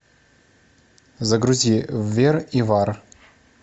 загрузи вер и вар